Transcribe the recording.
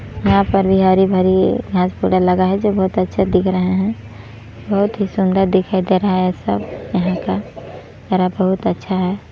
यहाँ पर भी हरी-भरी घास थोड़ा लगा है जो बहुत अच्छा दिख रहा है बहुत ही सुन्दर दिखाई दे रहा है सब यहाँ का हरा बहुत अच्छा है।